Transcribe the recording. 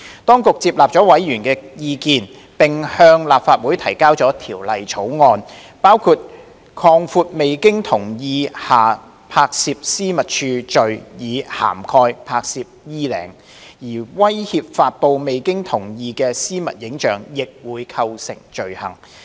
當局接納了委員的意見，並向立法會提交了條例草案，包括擴闊未經同意下拍攝私密處罪以涵蓋"拍攝衣領"，而威脅發布未經同意的私密影像亦會構成罪行。